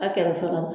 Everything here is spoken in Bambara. A kɛrɛfɛla la